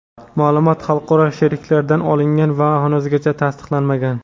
ma’lumot xalqaro sheriklardan olingan va hanuzgacha tasdiqlanmagan.